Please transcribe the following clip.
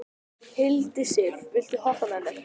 Hildisif, viltu hoppa með mér?